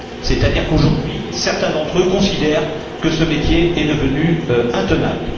C'est à dire qu'aujourd'hui, certains d'entre eux considèrent que ce métier est devenu intenable.